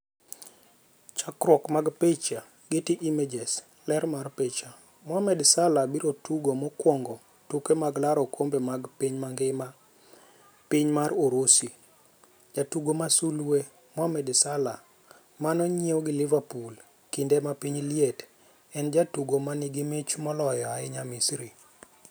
Chakruok mar picha, Getty Images. Ler mar picha, Mohamed Salah biro tugo mokwongo tuke mag laro okombe mar piny mangima piny mar Urusi. Jatugo ma sulwe: Mohamed Salah, manonyiew gi Liverpool kinde ma piny liet, en e jatugo ma nigi mich moloyo ahinya Misri.